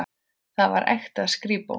Þar var ekta skrípó.